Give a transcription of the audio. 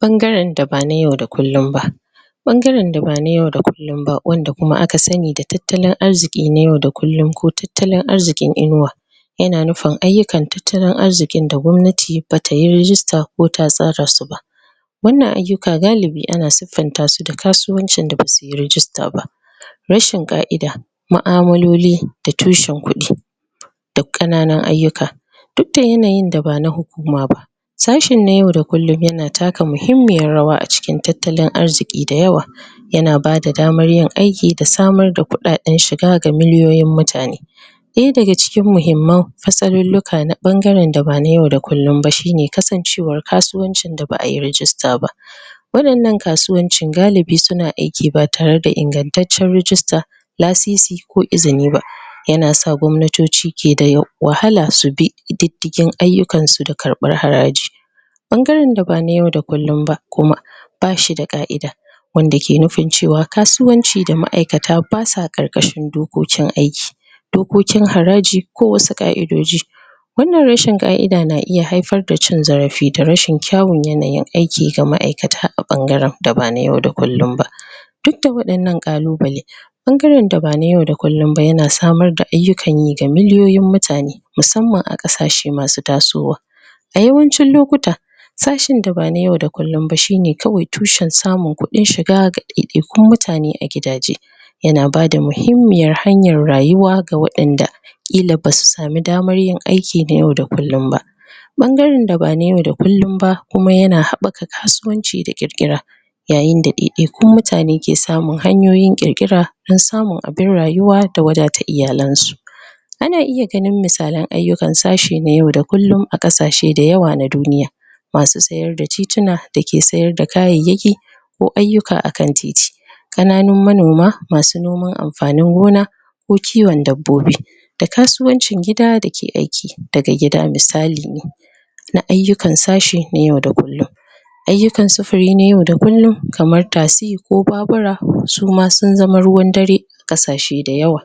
Ɓangaren da ba na yau da kullum ba. Ɓangaren da ba yau da kullum ba wanda aka fi sani da tattalin arziki na yau da kullum ko tattalin arziki na inuwa yana nufin ayyukan tattalin arzikin da gwamnati ba tayi rijista ta tasar da su ba wannan ayyuka galibi ana suffanta su da kasuwancin da basuyi rajista ba rashin ƙa'ida, mu'amaloli da tushen kudi da ƙananun ayyuka, duk da yanayin da ba na hukuma ba sashen na yau da kullum yana taka muhimmiyar rawa a cikin tattalin arziki da yawa ana bada damar yin aiki da samar da kuɗaɗen shiga ga miliyoyin mutane ɗaya daga cikin muhimman matsalolin na ɓangaren da ba na yau da kullum ba shine kasancewar kasuwancin da ba'ayi rajista ba wadannnan kasuwancin galibi suna aiki ba tare da ingantacciyar rajista lasisi ko izini ba. Yana sa gwamnatoci ke da wahala su bi diddigin ayyukan su da karɓan haraji ɓangaren da ba na yau da kullum ba kuma bashi da ƙa'ida. wanda ke nufin cewa kasuwanci da ma'aikata ba sa ƙarƙashin dokokin aiki dokokin haraji ko wasu ƙa'idodi wannan rashin ƙa'ida na iya haifar da rashin cin zarafi ga rashin kyawun nayin aiki na ma'aikata a ɓangaren da ba na yau da kullum ba duk da waɗannan ƙalubale ɓangaren da ba na yau da kullum ba yana samar da ayyukan yi ga miliyoyin mutane musamman a ƙasashe masu tasowa A yawancin lokuta sashen da ba na yau da kullum ba shine kawai tushen samun kuɗin shiga ga ɗaiɗaikun mutane a gidaje yana bada muhimmiyar hanyar rayuwa ga waɗanda ƙila basu samu damar yin aiki na yau da kullum ba Ɓangare da ba na yau da kullum ba kuma yana haɓaka kasuwanci da ƙirƙira yayinda daidaikun mutane ke samun hanyoyin ƙirƙira don samun abin rayuwa da wadata iyalin su ana iya ganin misalan aikin ayyukan sashe na yau da kullum a ƙasashe da yawa na duniya ma su sayar da tituna da ke sayar da kayayyaki ko ayyuka akan titi kananun manoma masu noma amfanin gona ko kiwon dabbobi da kasuwancin gida dake aiki daga gida misali ne na ayyukan sashi na yau da kullum ayyukan sufuri na yau da kullum kamar taxi ko babura suma sun zama ruwan dare kasace da yawa